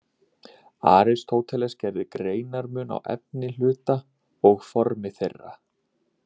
Aristóteles gerði greinarmun á efni hluta og formi þeirra.